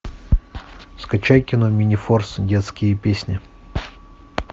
скачай кино минифорс детские песни